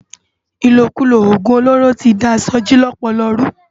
Ilókúló ógún ólóró ti dá Soji lòpòlò rú